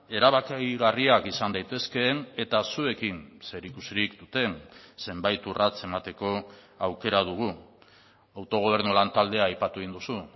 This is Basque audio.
erabakigarriak izan daitezkeen eta zuekin zerikusirik duten zenbait urrats emateko aukera dugu autogobernu lantaldea aipatu egin duzu